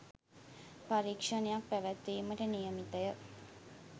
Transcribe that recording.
පරීක්‍ෂණයක්‌ පැවැත්වීමට නියමිතය.